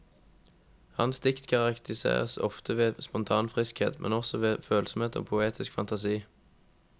Hans dikt karakteriseres ofte ved spontan friskhet, men også ved følsomhet og poetisk fantasi.